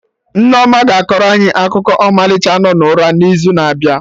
Nneoma ga-akọrọ anyị akụkụ ọmalịcha nọ n'ụra na'izu na-abịa